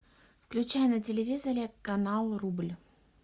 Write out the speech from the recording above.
включай на телевизоре канал рубль